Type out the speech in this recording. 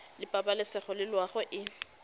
la pabalesego le loago e